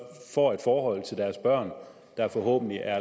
får et forhold til deres børn der forhåbentlig er